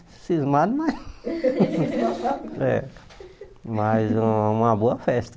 Cismado, mas é mas um uma boa festa.